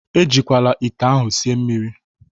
Ejikwala ite ahụ sie mmiri!